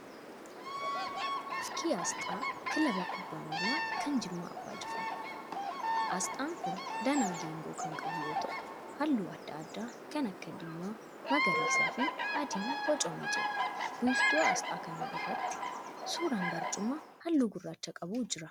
Fakkii asxaa kilaaba kubbaa miilaa kan Jimmaa Abbaa Jifaar. Asxaan kun danaa geengoo kan qabu yoo ta'u halluu adda addaa kan akka diimaa, magariisaa fi adiin boocamee jira. Wiirtuu asxaa kanaa irratti suuraan barcuma halluu gurraacha qabu jira.